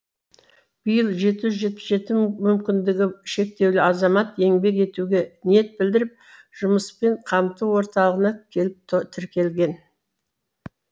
биыл жеті жүз жетпіс жеті мүмкіндігі шектеулі азамат еңбек етуге ниет білдіріп жұмыспен қамту орталығына келіп тіркелген